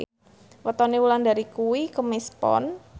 wetone Wulandari kuwi Kemis Pon